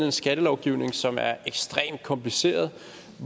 en skattelovgivning som er ekstremt kompliceret